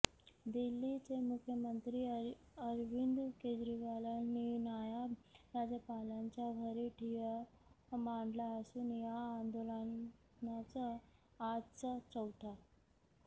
दिल्लीचे मुख्यमंत्री अरविंद केजरीवालांनी नायब राज्यपालांच्या घरी ठिय्या मांडला असून या आंदोलनाचा आजचा चौथा